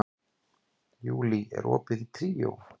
Júlí, er opið í Tríó?